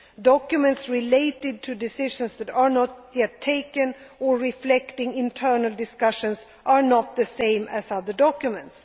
to think. Documents related to decisions that have not yet been taken, or reflecting internal discussions, are not the same as other documents.